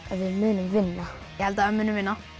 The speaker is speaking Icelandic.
munum vinna ég held að við munum vinna